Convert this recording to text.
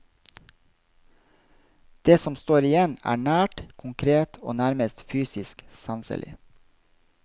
Det som står igjen er nært, konkret og nærmest fysisk sanselig.